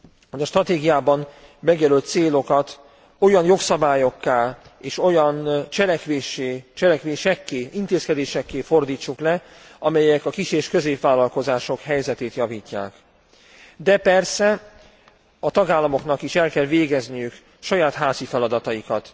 hogy a stratégiában megjelölt célokat olyan jogszabályokká és olyan cselekvésekké, intézkedésekké fordítsuk le, amelyek a kis és középvállalkozások helyzetét javítják, de persze a tagállamoknak is el kell végezniük saját házi feladataikat.